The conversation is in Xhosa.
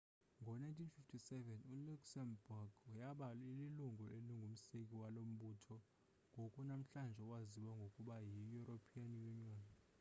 ngo-1957 iluxembourg yaba lilungu elingumseki walo mbutho ngoku namhlanje owaziwa ngokuba yieuropean union